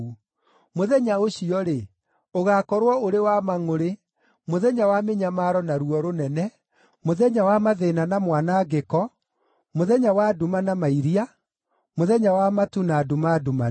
Mũthenya ũcio-rĩ, ũgaakorwo ũrĩ wa mangʼũrĩ, mũthenya wa mĩnyamaro na ruo rũnene, mũthenya wa mathĩĩna na mwanangĩko, mũthenya wa nduma na mairia, mũthenya wa matu na nduma ndumanu,